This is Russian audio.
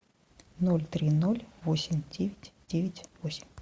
ноль три ноль восемь девять девять восемь